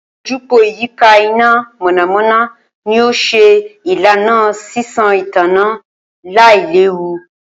Ojúpòó ìyíká iná mọ̀nàmọ̀nà ni ó ṣe ìlànà sísan ìtànná lailewu